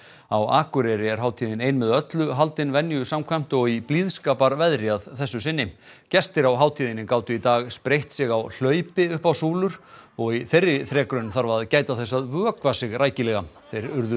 á Akureyri er hátíðin ein með öllu haldin venju samkvæmt og í blíðskaparveðri að þessu sinni gestir á hátíðinni gátu í dag spreytt sig á hlaupi upp á súlur og í þeirri þrekraun þarf að gæta þess að vökva sig rækilega þeir urðu